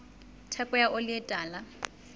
theko ya oli e tala